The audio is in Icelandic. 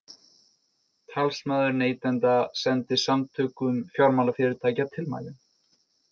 Talsmaður neytenda sendi Samtökum fjármálafyrirtækja tilmælin